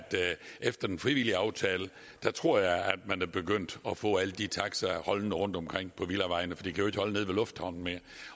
efter den frivillige aftale tror jeg at man er begyndt at få alle de taxaer holdende rundtomkring på villavejene for de kan jo ikke længere holde nede ved lufthavnen